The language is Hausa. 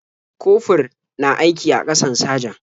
Kofur na aiki a ƙasan sajan.